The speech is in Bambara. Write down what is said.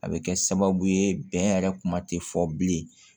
A bɛ kɛ sababu ye bɛn yɛrɛ kuma tɛ fɔ bilen